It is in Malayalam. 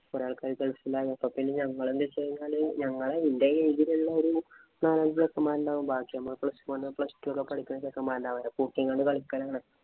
കൊറേ ആള്‍ക്കാര് ഗള്‍ഫിലായി. അപ്പൊ പിന്നെ ഞങ്ങള് എന്തു ചെയ്യും എന്ന് വച്ച് കഴിഞ്ഞാല് ഞങ്ങടെ എന്‍റെ age ഇലുള്ള നാലഞ്ചു ചെറുക്കന്മാരുണ്ടാകും. ബാക്കി plus one plus two ഒക്കെ പഠിക്കുന്ന ചെറുക്കന്മാരുണ്ടാകും. കൂട്ടി അങ്ങട്ട് കളിക്കയാണ്.